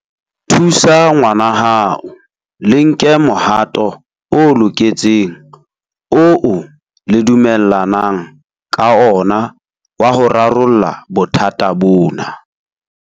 Thusa ngwanahao le nke mohato o loketseng oo le dumellanang ka ona wa ho rarolla bothata bona.